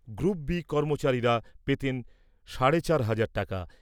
Group B কর্মচারীরা পেতেন সাড়ে চার হাজার টাকা ।